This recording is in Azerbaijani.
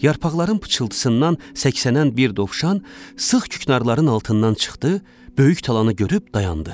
Yarpaqların pıçıltısından səksənən bir dovşan sıx küknarların altından çıxdı, böyük talanı görüb dayandı.